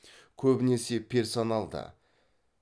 көбінесе персоналды